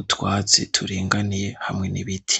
utwatsi turinganiye hamwe n'ibiti.